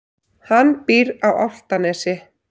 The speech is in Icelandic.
Hann býr á Álftanesi.